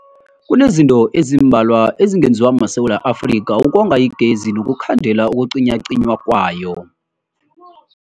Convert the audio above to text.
Kunezinto ezimbalwa ezingenziwa maSewula Afrika ukonga igezi nokukhandela ukucinywacinywa kwayo.